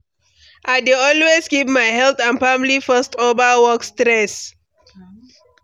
I dey always keep my health and family first over work stress.